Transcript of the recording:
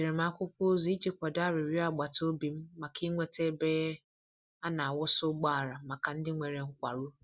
Edere m akwụkwọ ozi iji kwado arịrịọ agbata obi m maka inweta ebe a na-akwọsa ụgbọala maka ndị nwere nkwarụ.